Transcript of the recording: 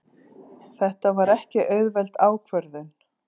Þetta var ekki auðveld ákvörðun.